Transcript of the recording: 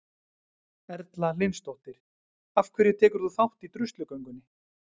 Erla Hlynsdóttir: Af hverju tekur þú þátt í druslugöngunni?